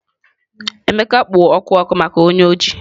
Emeka kpo oku oku maka onye oji.